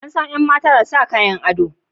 An san yan mata da sa Kayan ado.